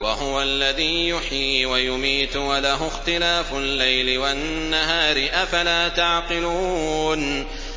وَهُوَ الَّذِي يُحْيِي وَيُمِيتُ وَلَهُ اخْتِلَافُ اللَّيْلِ وَالنَّهَارِ ۚ أَفَلَا تَعْقِلُونَ